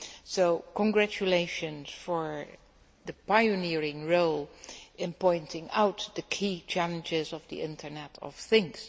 So congratulations for the pioneering role in pointing out the key challenges of the Internet of Things.